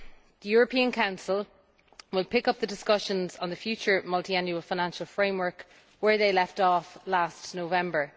The European Council will pick up the discussions on the future multiannual financial framework where they left off last November.